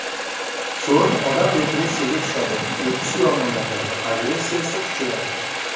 So‘ng odam depressiyaga tushadi, uyqusi yomonlashadi, agressiya esa kuchayadi.